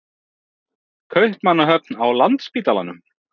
Kaupmannahöfn, á Landspítalanum.